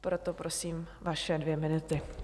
Proto prosím vaše dvě minuty.